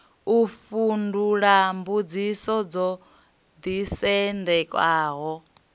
u fhindula mbudziso dzo ḓisendekaho